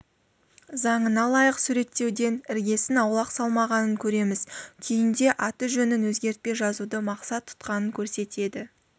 заңына лайық суреттеуден іргесін аулақ салмағанын көреміз күйінде аты-жөнін өзгертпей жазуды мақсат тұтқанын көрсетеді